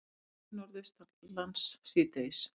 Hægari Norðaustanlands síðdegis